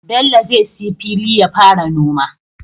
Bello zai siya fili yafara noma